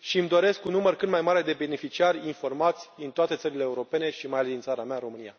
și îmi doresc un număr cât mai mare de beneficiari informați din toate țările europene și, mai ales, din țara mea, România.